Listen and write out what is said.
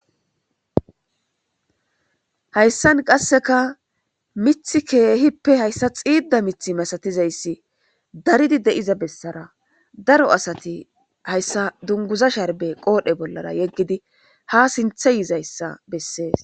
Haysan kaseka mithi keehipe haysa xiida mithi masatizaysi daridi diza besara daro asati haysa dunguza sharbe qool'e bolara yegidi ha sinthe yizaysa beses.